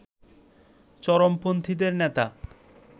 চরমপন্থীদের নেতা